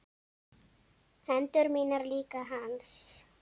Hendur mínar líka hans.